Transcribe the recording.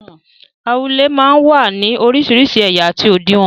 Awúlẹ̀ máa ń wá ní orísìírísìí ẹ̀yà àti òdiwọ̀n.